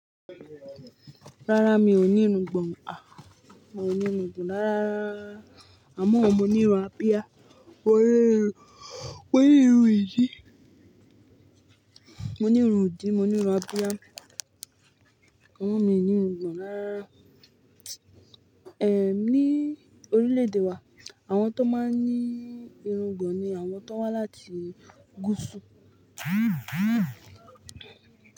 Rárá mi ò ní irùngbọ̀n à, mo ní irùngbọ̀n rárá rara, àmọ́ mo ní irun abiá. Mo ní irun, mo ní irun yìí. Mo ní irun ìdì, mo ní irun abiá. Amọ́ mi ò ní irùngbọ̀n rárá. Ní orílẹ̀-èdè wa àwọn tó máa ń ní irùngbọ̀n ni àwọn tó wá láti gúúsù.